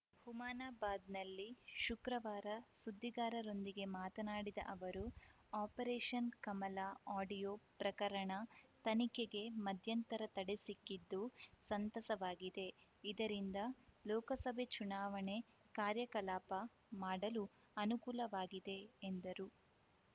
ಹುಮನಾಬಾದ್‌ನಲ್ಲಿ ಶುಕ್ರವಾರ ಸುದ್ದಿಗಾರರೊಂದಿಗೆ ಮಾತನಾಡಿದ ಅವರು ಆಪರೇಷನ್‌ ಕಮಲ ಆಡಿಯೋ ಪ್ರಕರಣ ತನಿಖೆಗೆ ಮಧ್ಯಂತರ ತಡೆ ಸಿಕ್ಕಿದ್ದು ಸಂತಸವಾಗಿದೆ ಇದರಿಂದ ಲೋಕಸಭೆ ಚುನಾವಣೆ ಕಾರ್ಯಕಲಾಪ ಮಾಡಲು ಅನುಕೂಲವಾಗಿದೆ ಎಂದರು